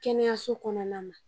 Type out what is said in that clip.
Kɛnɛyaso kɔnɔna ma